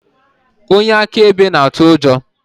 Onye akaebe na-atụ ụjọ